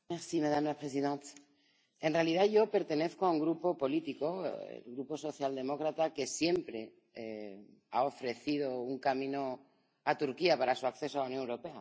Señora presidenta, en realidad yo pertenezco a un grupo político, el grupo socialdemócrata, que siempre ha ofrecido un camino a Turquía para su acceso a la Unión Europea.